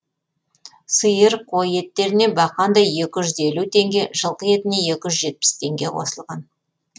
сиыр қой еттеріне бақандай екі жүз елу теңге жылқы етіне екі жүз жетпіс теңге қосылған